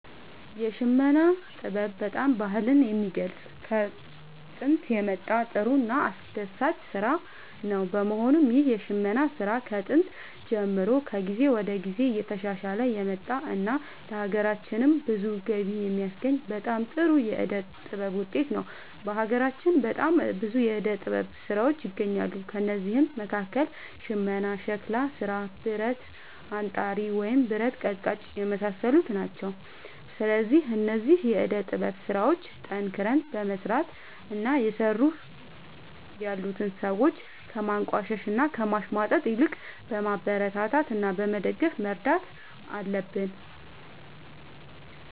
የሽመና ጥበብ በጣም ባህልን የሚገልፅ ከጦንት የመጣ ጥሩ እና አስደሳች ስራ ነው በመሆኑም ይህ የሽመና ስራ ከጥንት ጀምሮ ከጊዜ ወደ ጊዜ እየተሻሻለ የመጣ እና ለሀገራችንም ብዙ ገቢ የሚያስገኝ በጣም ጥሩ የዕደ ጥበብ ውጤት ነው። በሀገራችን በጣም ብዙ የዕደ ጥበብ ስራዎች ይገኛሉ ከእነዚህም መካከል ሽመና ሸክላ ስራ ብረት አንጣሪ ወይም ብረት ቀጥቃጭ የመሳሰሉት ናቸው። ስለዚህ እነዚህን የዕደ ጥበብ ስራዎች ጠንክረን በመስራት እና እየሰሩ ያሉትን ሰዎች ከማንቋሸሽ እና ከማሽሟጠጥ ይልቅ በማበረታታት እና በመደገፍ መርዳት አለብን